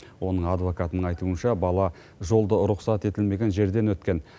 оның адвокатының айтуынша бала жолды рұқсат етілмеген жерден өткен